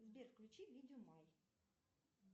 сбер включи видео май